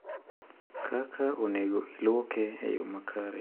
kaka onego iluoke e yo makare.